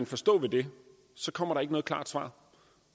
forstå ved det kommer der ikke noget klart svar